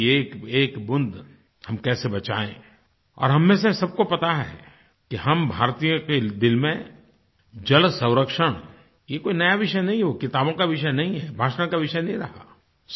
बारिश की एकएक बूँद हम कैसे बचाएँ और हम में से सबको पता है कि हम भारतीयों के दिल में जलसंरक्षण ये कोई नया विषय नहीं है किताबों का विषय नहीं है भाषा का विषय नहीं रहा